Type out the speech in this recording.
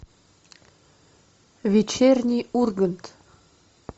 вечерний ургант